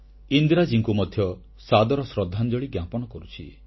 ଇନ୍ଦିରାଜୀଙ୍କୁ ମଧ୍ୟ ସାଦର ଶ୍ରଦ୍ଧାଞ୍ଜଳି ଜ୍ଞାପନ କରୁଛି